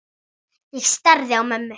Ég starði á mömmu.